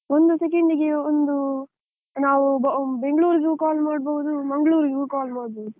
ಒಂದು ಸೆಕೆಂಡಿಗೆ ಒಂದು ನಾವು ಬೆಂಗಳೂರಿಗೂ call ಮಾಡ್ಬೋದು, ಮಂಗಳೂರಿಗೂ call ಮಾಡ್ಬೋದು.